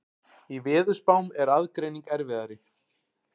Í veðurspám er aðgreining erfiðari.